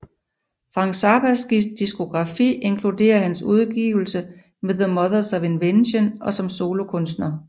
Frank Zappas diskografi inkluderer han udgivelser med the Mothers of Invention og som solokunstner